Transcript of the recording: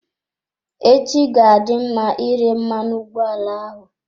Echi ga-adị mma ire mmanụ ụgbọala ahụ.